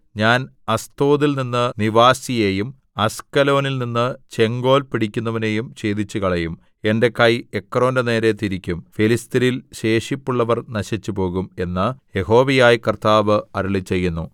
ഞാൻ അസ്തോദിൽനിന്ന് നിവാസിയെയും അസ്കലോനിൽനിന്ന് ചെങ്കോൽ പിടിക്കുന്നവനെയും ഛേദിച്ചുകളയും എന്റെ കൈ എക്രോന്റെ നേരെ തിരിക്കും ഫെലിസ്ത്യരിൽ ശേഷിപ്പുള്ളവർ നശിച്ചുപോകും എന്ന് യഹോവയായ കർത്താവ് അരുളിച്ചെയ്യുന്നു